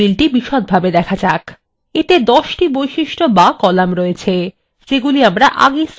এতে ১০ টি বৈশিষ্ট বা কলাম রয়েছে যেগুলি আমরা আগেই স্থির করে নিয়েছিলাম